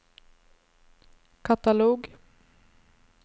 katalog